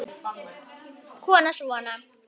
Kona: Svona?